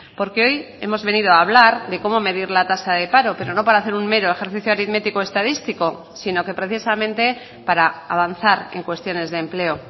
porque hoy hemos venido a hablar de cómo medir la tasa de paro pero no para hacer un mero ejercicio aritmético estadístico sino que precisamente para avanzar en cuestiones de empleo